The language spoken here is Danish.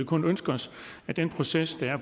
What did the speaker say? kun ønske os at den proces der er